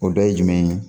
O dɔ ye jumɛn ye